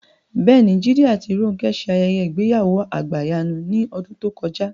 Bẹ́ẹ̀ni, Jídé àti Rónkẹ́ ṣe ayẹyẹ ìgbéyàwó àgbàyanu ní ọdún tó kọjá